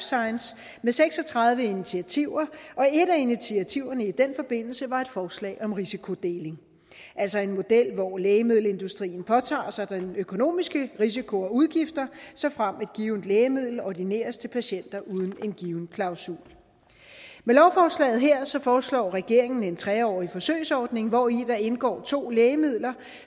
science med seks og tredive initiativer og et af initiativerne i den forbindelse var et forslag om risikodeling altså en model hvor lægemiddelindustrien påtager sig den økonomiske risiko og udgifter såfremt et givet lægemiddel ordineres til patienter uden en given klausul med lovforslaget her foreslår regeringen en tre årig forsøgsordning hvori der indgår to lægemidler